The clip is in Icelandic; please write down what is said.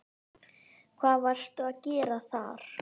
Hvað varstu að gera þar?